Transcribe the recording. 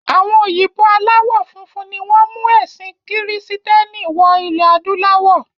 Àwọn Òyìnbó aláwọ funfun ni wọ́n mú ẹ̀sìn kírísítẹ́nì wọ ilẹ̀ adúláwọ̀.